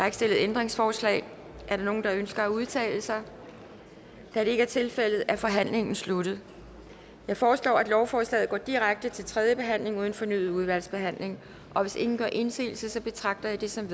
ikke stillet ændringsforslag er der nogen der ønsker at udtale sig da det ikke er tilfældet er forhandlingen sluttet jeg foreslår at lovforslaget går direkte til tredje behandling uden fornyet udvalgsbehandling hvis ingen gør indsigelse betragter jeg det som